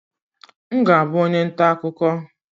M ga-abụ onye nta akụkọ